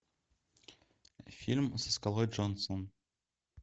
фильм со скалой джонсоном